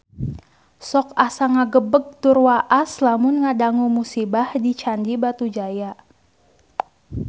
Sok asa ngagebeg tur waas lamun ngadangu musibah di Candi Batujaya